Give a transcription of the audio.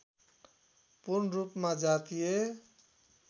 पूर्णरूपमा जातीय